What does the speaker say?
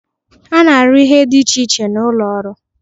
A na-arụ ihe dị iche iche n'ụlọ ọrụ.